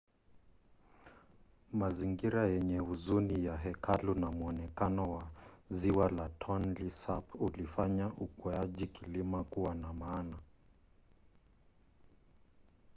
mazingira yenye huzuni ya hekalu na mwonekano wa ziwa la tonle sap ulifanya ukweaji kilima kuwa wa maana